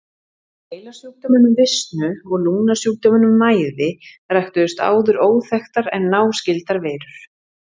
Úr heilasjúkdóminum visnu og lungnasjúkdóminum mæði ræktuðust áður óþekktar en náskyldar veirur.